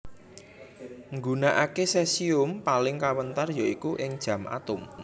Nggunakaké sesium paling kawentar ya iku ing jam atom